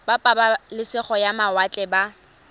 ba pabalesego ya mawatle ba